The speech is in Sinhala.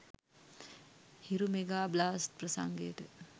Hiru mega blast ප්‍රංසගයට